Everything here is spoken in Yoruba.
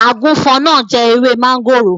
Àgùfọn náà jẹ ewé máńgòrò.